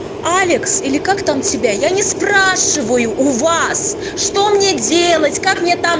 алекс или как там тебя я не спрашиваю у вас что мне делать как мне там